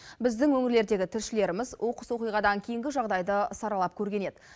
біздің өңірлердегі тілшілеріміз оқыс оқиғадан кейінгі жағдайды саралап көрген еді